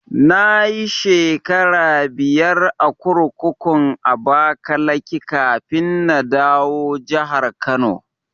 Nayi shekara biyar a kurkukun Abakaliki kafin na dawo jahar Kano